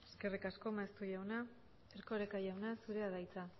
eskerrik asko maeztu jauna erkoreka jauna zurea da hitza